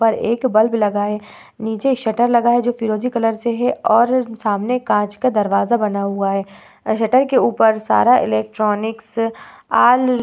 उपर एक बल्ब लगा है। नीचे शटर लगा हुवा है जो फिरोजी कलर से है और सामने कांच का दरवाज़ा बना हुवा है। शटर के उपर सारा इलेक्ट्रॉनिक्स ऑल --